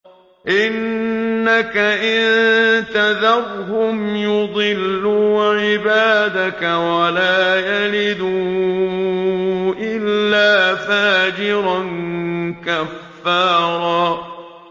إِنَّكَ إِن تَذَرْهُمْ يُضِلُّوا عِبَادَكَ وَلَا يَلِدُوا إِلَّا فَاجِرًا كَفَّارًا